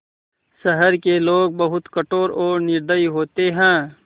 शहर के लोग बहुत कठोर और निर्दयी होते हैं